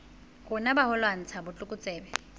rona ba ho lwantsha botlokotsebe